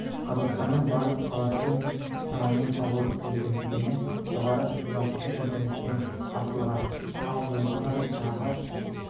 қазақстанның барлық қаласы мен шамамен ауылдық елді мекені жоғары жылдамдықты интернетпен қамтылған ал жылға қарай тағы